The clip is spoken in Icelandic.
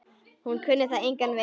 Hún kunni það engan veginn.